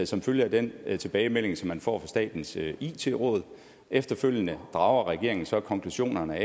som følge af den tilbagemelding som man får statens it råd efterfølgende drager regeringen så konklusionerne